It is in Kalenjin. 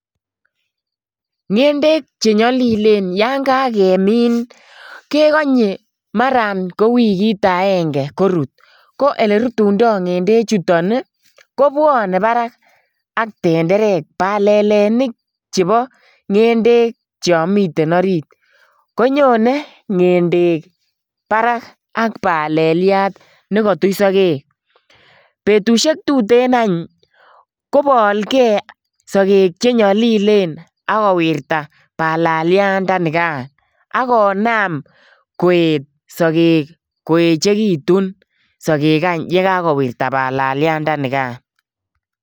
Ngendek che nyalilen yon kagemin kegonye mara ko wigit agenge korut. Ko oleritundo ngendechuton ii kobwane barak ak tenderek. Palalenik chebo ngendek cho miten orit, konyone ngendek barak ak paleliat negatich sogek. Betusiek tuten any kopalge sogek che nyalilen ak kowirta palaliatndanigan ak konam koet sogek koechegitun sogel any ye kagowirta palaliatndanigan.